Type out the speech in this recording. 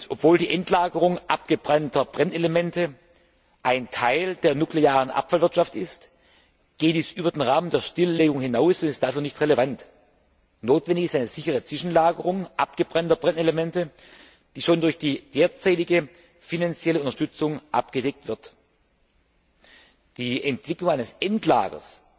Obwohl die Endlagerung abgebrannter Brennelemente ein Teil der nuklearen Abfallwirtschaft ist, geht dies über den Rahmen der Stilllegung hinaus und ist dafür nicht relevant. Notwendig ist eine sichere Zwischenlagerung abgebrannter Brennelemente, die schon durch die derzeitige finanzielle Unterstützung abgedeckt wird. Die Entwicklung eines Endlagers,